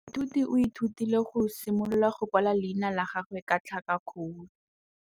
Moithuti o ithutile go simolola go kwala leina la gagwe ka tlhakakgolo.